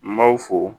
N b'aw fo